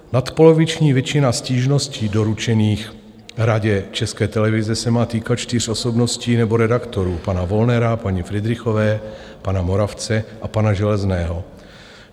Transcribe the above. Nadpoloviční většina stížností doručených Radě České televize se má týkat čtyř osobností nebo redaktorů: pana Wollnera, paní Fridrichové, pana Moravce a pana Železného.